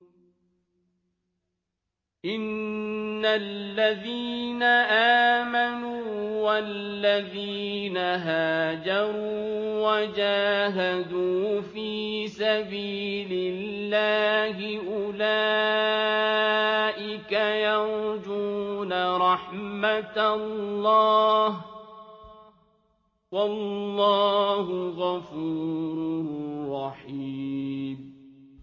إِنَّ الَّذِينَ آمَنُوا وَالَّذِينَ هَاجَرُوا وَجَاهَدُوا فِي سَبِيلِ اللَّهِ أُولَٰئِكَ يَرْجُونَ رَحْمَتَ اللَّهِ ۚ وَاللَّهُ غَفُورٌ رَّحِيمٌ